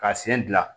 Ka sen dilan